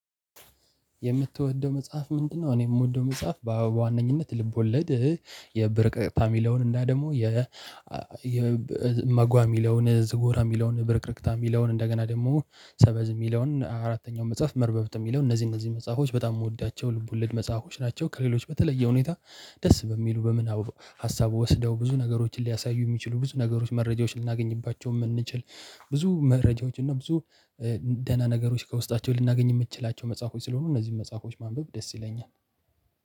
የምትወደው መጽሐፍ ምንድ ነው? እኔ የምወደው መጽሐፍ በዋነኝነት ልቦለድ የብርቅ ፋሚላውን እና ደግሞ የ እመጓ የሚለውን ዝጎራ የሚለውን ብርቅርቅታ የሚለውን እንደገና ደግሞ ሰበዝ የሚለውን አራተኛው መጽሐፍ መርበብት የሚለውን እነዚህ እነዚህ መጽሐፎች በጣም የምወዳቸው ልብ ወለድ መጽሐፎች ናቸው። ከሌሎች በተለየ ሁኔ ሁኔታ ደስ በሚሉ በምናቡ ሀሳቡ ወስደው ብዙ ነገሮችን ሊያሳዩ የሚችሉ ብዙ ነገሮች መረጃዎችን ልናገኝባቸው የምንችል። ብዙ መረጃዎች እና ብዙ ደህና ነገሮች ከውስጣቸው ልናገኝ የምንችላቸው መጽሐፎች ስለሆኑ እነዚህን መጽሐፎች ማንበብ ደስ ይለኛል።